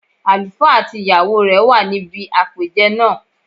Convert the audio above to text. Àlùfá àti ìyàwó rẹ̀ wà níbi àpèjẹ náà